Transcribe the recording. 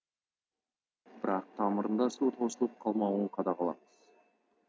бірақ тамырында су тосылып қалмауын қадағалаңыз